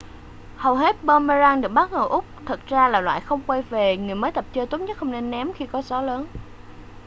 hầu hết boomerang được bán ở úc thật ra là loại không quay về người mới tập chơi tốt nhất không nên ném khi có gió lớn